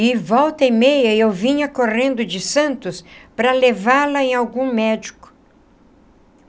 E volta e meia eu vinha correndo de Santos para levá-la em algum médico.